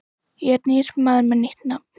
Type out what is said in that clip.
Ég er nýr maður með nýtt nafn.